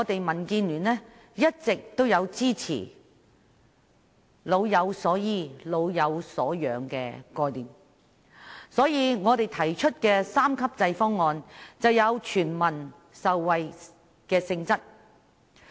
民建聯一直支持"老有所依"和"老有所養"的概念，因此我們提出的三級制方案便有全民受惠的性質。